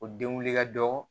O den wuli ka dɔgɔ